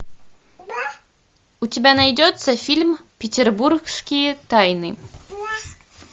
у тебя найдется фильм петербургские тайны